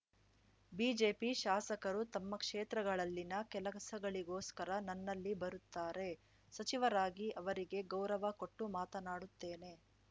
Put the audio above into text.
BJP ಶಾಸಕರು ತಮ್ಮ ಕ್ಷೇತ್ರಗಳಲ್ಲಿನ ಕೆಲಸಗಳಿಗೋಸ್ಕರ ನನ್ನಲ್ಲಿ ಬರುತ್ತಾರೆ ಸಚಿವರಾಗಿ ಅವರಿಗೆ ಗೌರವ ಕೊಟ್ಟು ಮಾತನಾಡುತ್ತೇನೆ